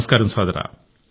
నమస్కారం సోదరా